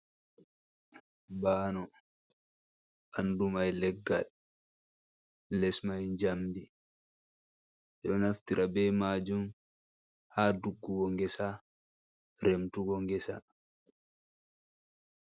Ɓaano, ɓandu mai leggal, les mai njamdi. Ɓe ɗo naftira be maajum ha duggugo ngesa, remtugo ngesa.